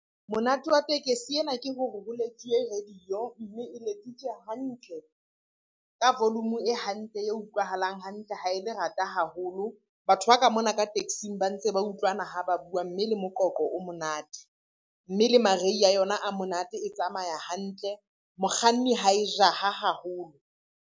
Monate wa tekesi ena ke hore ho letsuwe radio, mme e letsitswe hantle, ka volume e hantle e utlwahalang hantle, ha e le rata haholo. Batho ba ka mona ka taxing ba ntse ba utlwana ha ba bua, mme le moqoqo o monate. Mme le marei a yona a monate, e tsamaya hantle. Mokganni ha e jaha haholo.